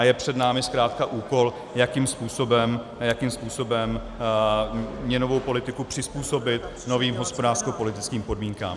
A je před námi zkrátka úkol, jakým způsobem měnovou politiku přizpůsobit novým hospodářskopolitickým podmínkám.